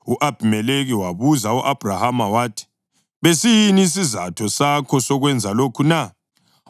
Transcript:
U-Abhimelekhi wabuza u-Abhrahama wathi, “Besiyini isizatho sakho sokwenza lokhu na?”